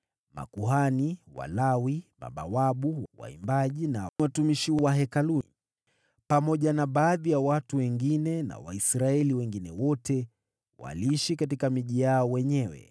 Makuhani, Walawi, mabawabu, waimbaji na watumishi wa Hekalu, pamoja na baadhi ya watu wengine na Waisraeli waliosalia waliishi katika miji yao wenyewe. Ezra Asoma Sheria Ilipotimia miezi saba, nao Waisraeli wakiwa tayari wanaishi katika miji yao,